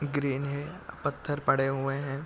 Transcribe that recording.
Green है पत्थर पड़े हुए है।